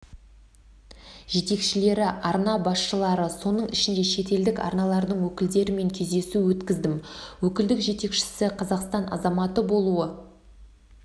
жетекшілері арна басшылары соның ішінде шетелдік арналардың өкілдерімен кездесу өткіздім өкілдік жетекшісі қазақстан азаматы болуы